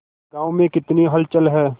गांव में कितनी हलचल है